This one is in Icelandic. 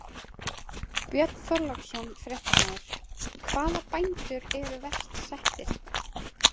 Björn Þorláksson, fréttamaður: Hvaða bændur eru verst settir?